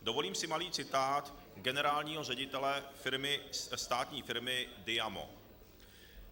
Dovolím si malý citát generálního ředitele státní firmy Diamo.